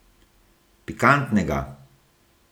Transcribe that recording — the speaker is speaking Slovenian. Pikantnega!